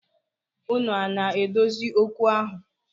Unu ana adozi okwu ahụ?